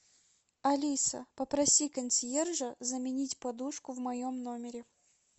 алиса попроси консьержа заменить подушку в моем номере